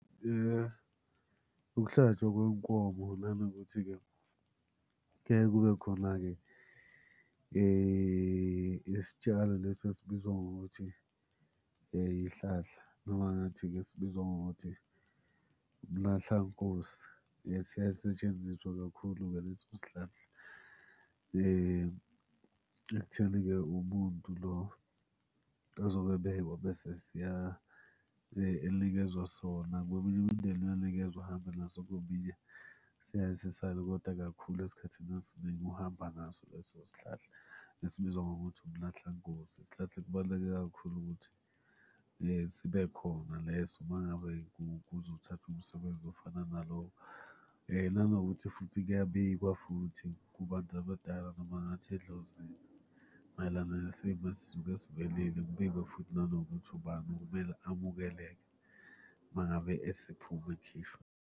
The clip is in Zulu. Ukuhlatshwa kwenkomo nanokuthi-ke kuyeke kube khona-ke isitshalo lesi esibizwa ngokuthi ihlahla noma ngathi-ke esibizwa ngokuthi umlahlankosi. Siyaye sisetshenziswe kakhulu-ke leso sihlahla ekutheni-ke umuntu lo ozobe ebekwa bese elikezwa sona. Kweminye imindeni uyanikezwa ahambe naso kweminye siyaye sisale koda kakhulu esikhathini esiningi uhamba naso leso sihlahla esibizwa ngokuthi umlahlankosi. Isihlahla ekubaluleke kakhulu ukuthi sibe khona leso uma ngabe kuzothathwa umsebenzi ofana nalowo. Nanokuthi futhi kuyabikwa futhi kubantu abadala noma ngathi edlozini mayelana nesimo esisuke sivelile. Kubikwe futhi nanokuthi ubani okumele amukele uma ngabe esephuma ekhishwa.